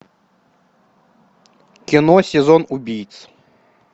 кино сезон убийц